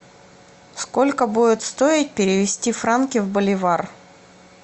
сколько будет стоить перевести франки в боливар